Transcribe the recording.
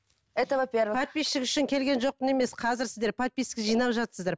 это во первых подписчик үшін келген жоқпын емес қазір сіздер подписка жинап жатырсыздар